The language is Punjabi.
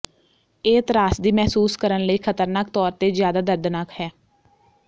ਇਹ ਤ੍ਰਾਸਦੀ ਮਹਿਸੂਸ ਕਰਨ ਲਈ ਖਤਰਨਾਕ ਤੌਰ ਤੇ ਜ਼ਿਆਦਾ ਦਰਦਨਾਕ ਹੈ